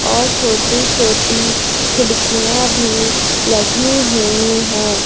और छोटी छोटी खिड़कियां भी लगी हुई हैं।